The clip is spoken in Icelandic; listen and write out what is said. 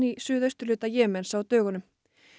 í suðausturhluta Jemens á dögunum